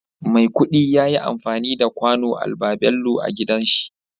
Maikudi yayi anfani da kwano albabello agidanshi